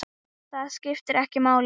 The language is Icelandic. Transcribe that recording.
Það skiptir ekki máli.